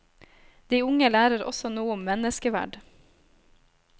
De unge lærer også noe om menneskeverd.